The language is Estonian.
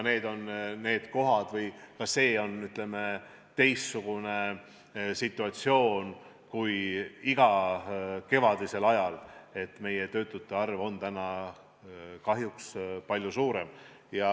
Nii et ka see on teistsugune situatsioon kui iga kevad, meie töötute arv on kahjuks palju suurem.